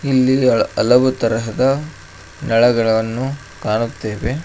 ಇಲ್ಲಿ ಅಳ ಹಲವು ತರಹದ ನಳಗಳನ್ನು ಕಾಣುತ್ತೇವೆ.